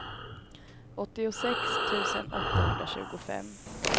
åttiosex tusen åttahundratjugofem